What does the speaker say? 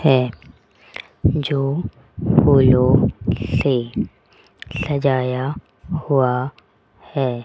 है जो फुलों से सजाया हुआ है।